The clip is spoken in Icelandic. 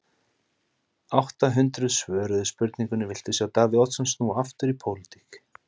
Átta hundruð svöruðu spurningunni, viltu sjá Davíð Oddsson snúa aftur í pólitík?